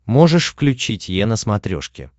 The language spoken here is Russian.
можешь включить е на смотрешке